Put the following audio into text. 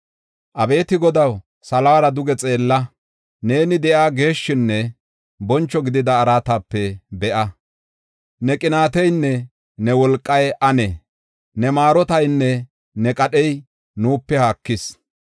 Abeeti Godaw, salora duge xeella; neeni de7iya geeshshinne boncho gidida araatape be7a. Ne qinaateynne ne wolqay anee? Ne maarotaynne ne qadhey nuupe haakis.